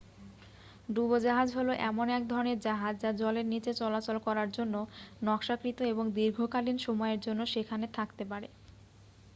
ডুবোজাহাজ হল এমন এক ধরণের জাহাজ যা জলের নীচে চলাচল করার জন্য নকশাকৃত এবং দীর্ঘকালীন সময়ের জন্য সেখানে থাকতে পারে